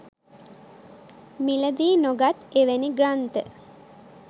මිලදී නොගත් එවැනි ග්‍රන්ථ